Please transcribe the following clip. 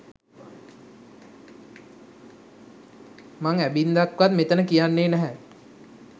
මං ඇබින්දක්වත් මෙතන කියන්නේ නැහැ